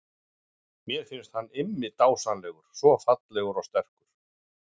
Mér finnst hann Immi dásamlegur, svo fallegur og sterkur.